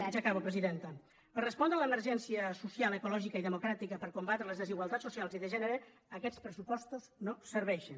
ja acabo presidenta per respondre a l’emergència social ecològica i democràtica per combatre les desigualtats socials i de gènere aquests pressupostos no serveixen